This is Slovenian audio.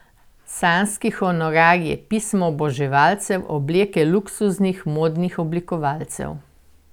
Sanjski honorarji, pisma oboževalcev, obleke luksuznih modnih oblikovalcev.